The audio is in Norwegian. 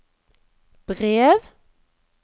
brev